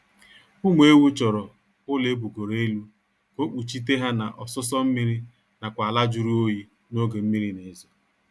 Ụmụ ewu chọrọ ụlọ ebugoro elu ka ọ kpuchite ha na ọsụsọ mmiri nakwa ala jụrụ oyi n'oge mmiri na-ezo